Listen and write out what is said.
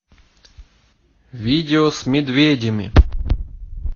видео с медведями